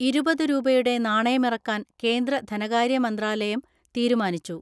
ഇരുപതുരൂപയുടെ നാണയമിറക്കാൻ കേന്ദ്ര ധനകാര്യ മന്ത്രാലയനം തീരുമാനിച്ചു.